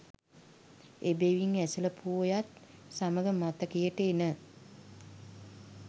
එබැවින් ඇසළ පෝයත් සමග මතකයට එන